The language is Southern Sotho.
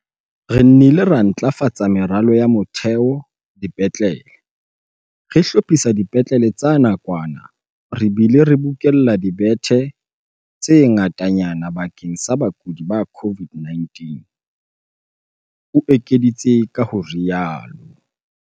"Re nnile ra ntlafatsa meralo ya motheo dipetlele, re hlophisa dipetlele tsa nakwana re bile re bokella dibethe tse ngatanyana bakeng sa bakudi ba COVID-19," o ekeditse ka ho rialo.